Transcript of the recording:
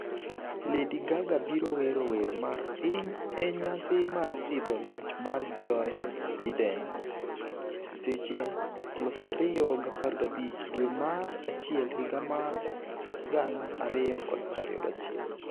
, Lady Gaga biro wero wer mar piny e nyasi mar sidho loch mar Joe Biden, Seche 2,0015 dwe mar achiel higa mar 2021 Winj,